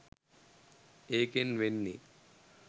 ඒකෙන් වෙන්නෙ